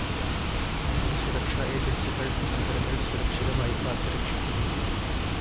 നമ്മുടെ സുരക്ഷാ ഏജന്‍സികള്‍ നഗരങ്ങള്‍ സുരക്ഷിതമായി കാത്ത് രക്ഷിക്കുന്നു